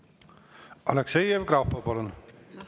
Aleksei Jevgrafov, palun!